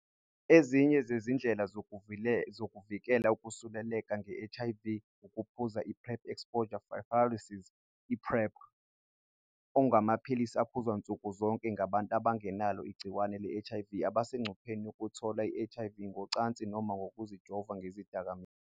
Enye yezindlela zokuvikela ukusuleleka nge-HIV ukuphuza i-Pre-Exposure Prophylaxis, i-PrEP, okungamaphilisi aphuzwa nsukuzonke ngabantu abangenalo igciwane le-HIV abasengcupheni yokuthola i-HIV, ngocansi noma ngokuzijova ngezidakamizwa.